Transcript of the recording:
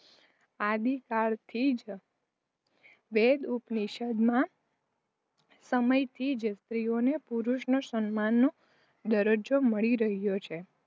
આદિકાળ થી જ વેદ ઉપનિષદ ના સમય થી જ સ્ત્રીઓ ને પુરુષ સમાન દરજજો મળી રહ્યો છે.